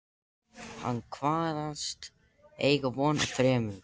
Hann kvaðst eiga von á þremur